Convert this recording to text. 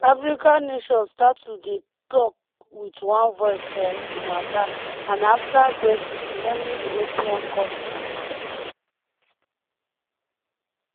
african nations start to dey tok wit one voice for di matter and afta brexit many european kontris